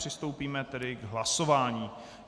Přistoupíme tedy k hlasování.